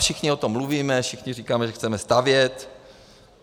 Všichni o tom mluvíme, všichni říkáme, že chceme stavět.